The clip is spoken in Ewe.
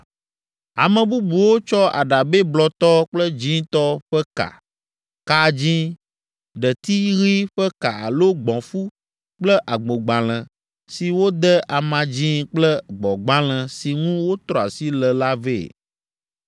Ame bubuwo tsɔ aɖabɛ blɔtɔ kple dzĩtɔ ƒe ka, ka dzĩ, ɖeti ɣi ƒe ka alo gbɔ̃fu kple agbogbalẽ si wode ama dzĩ kple gbɔ̃gbalẽ si ŋu wotrɔ asi le la vɛ.